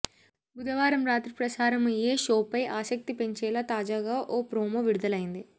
బుధవారం రాత్రి ప్రసారం అయ్యే షోపై ఆసక్తి పెంచేలా తాజాగా ఓ ప్రోమో విడుదలైంది